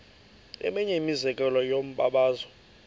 eminye imizekelo yombabazo